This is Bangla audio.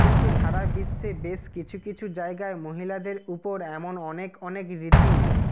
কিন্তু সারা বিশ্বে বেশ কিছু কিছু জায়গায় মহিলাদের উপর এমন অনেক অনেক রীতি